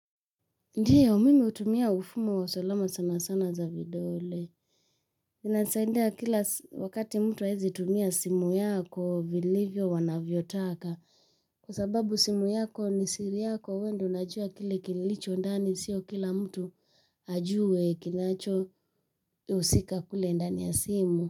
Ndiyo, mimi hutumia ufumo wa salamu sana sana za vidole. Inasaidia kila wakati mtu haezi tumia simu yako, vilivyo wanavyo taka. Kwa sababu simu yako ni siri yako, wewe ndo unajua kile kilicho ndani, sio kila mtu ajue kinacho husika kule ndani ya simu.